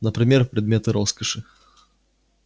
например предметы роскоши